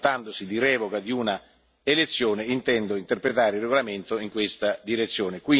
Quindi trattandosi di revoca di una elezione intendo interpretare il regolamento in questa direzione.